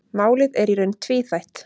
Málið er í raun tvíþætt.